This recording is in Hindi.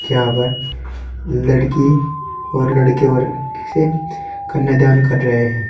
यहां पर लड़की और लड़के वर से कन्यादान कर रहे हैं।